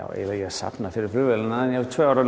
safna fyrir flugvélinni en ég var tvö ár